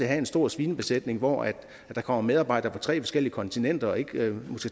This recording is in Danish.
have en stor svinebesætning hvor der kommer medarbejdere fra tre forskellige kontinenter og måske ikke